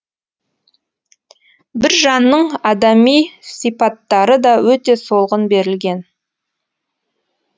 біржанның адами сипаттары да өте солғын берілген